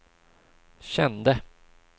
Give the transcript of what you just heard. kände